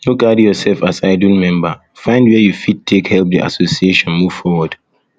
no carry yourself um as idle um member find where you fit fit take help the association move forward